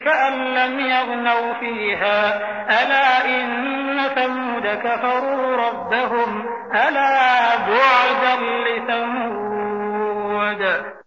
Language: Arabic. كَأَن لَّمْ يَغْنَوْا فِيهَا ۗ أَلَا إِنَّ ثَمُودَ كَفَرُوا رَبَّهُمْ ۗ أَلَا بُعْدًا لِّثَمُودَ